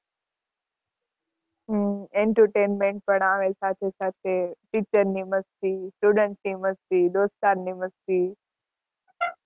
હમ entertainment પણ આવે સાથે સાથે. Teacher ની મસ્તી, student ની મસ્તી, દોસ્તાર ની મસ્તી.